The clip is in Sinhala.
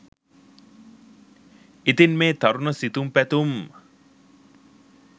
ඉතින් මේ තරුණ සිතුම් පැතුම්